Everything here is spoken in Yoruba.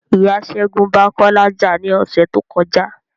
Ìyá ṣẹgun ba Kọ́lá já ni ọsẹ tó kọjá